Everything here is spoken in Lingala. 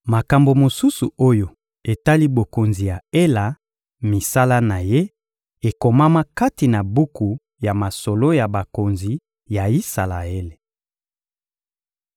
Makambo mosusu oyo etali bokonzi ya Ela, misala na ye, ekomama kati na buku ya masolo ya bakonzi ya Isalaele.